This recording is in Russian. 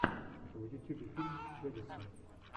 в ютюбе мультфильм дэдисан